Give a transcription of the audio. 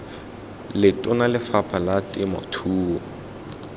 letona la lefapha la temothuo